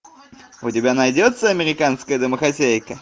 у тебя найдется американская домохозяйка